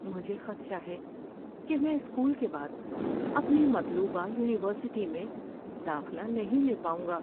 مجھے خدشہ ہے کہ میں اسکول کے بعد اپنی مطلوبہ یونیورسٹی میں داخلہ نہیں لے پاؤں گا۔